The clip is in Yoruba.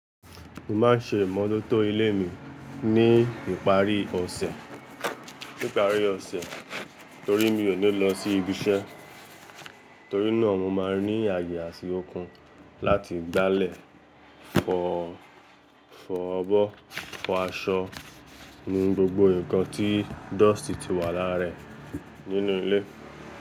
Mo máa ń ṣe ìmọ́tótó ilé mi ní ìparí ọ̀sẹ̀, ní ìparí ọ̀sẹ̀ torí mi ò ní lọ sí ibi iṣẹ́. Torí náà mo máa ní àyè àti okun áti gbálẹ̀ fọ, fọ abọ, fọ aṣọ, nu gbogbo nǹkan tí dọ̀stì ti wà lára rẹ̀ nínú ilé.